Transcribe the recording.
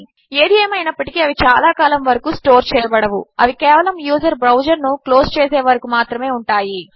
ఏది ఏమైనప్పటికీ అవి చాలా కాలము వరకు స్టోర్ చేయబడవు -అవి కేవలము యూజర్ బ్రౌజర్ ను క్లోజ్ చేసే వరకు మాత్రమే ఉంటాయి